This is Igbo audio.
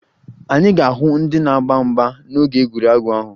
Anyị ga-ahụ ndị na-agba mgba n'oge egwuregwu ahụ